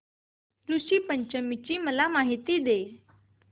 ऋषी पंचमी ची मला माहिती दे